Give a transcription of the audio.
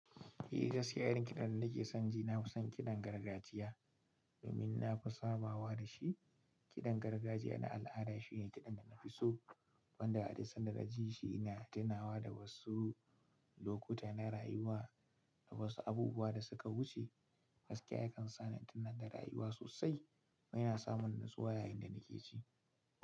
Eh, gaskiya irin kiɗan da nake son ji na fi son kiɗan gargajiya domin na fi sabawa da shi. Kiɗan gargajiya na al'ada shine kiɗan da na fi so wanda hadin sanadar ji shi na tunawa da wasu lokuta na rayuwa da wasu abubuwa da suka wuce. Gaskiya yakan sa ni tunan da rayuwa sosai kuma yana samun natsuwa yayin da nake ji.